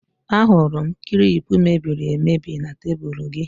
Ahụrụ m klip mebiri emebi na tebụl gị